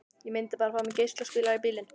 ég myndi bara fá mér geislaspilara í bílinn